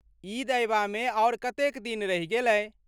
ईद अयबामे आओर कतेक दिन रहि गेलै?